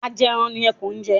Ajẹran ni Ẹkùn jẹ́.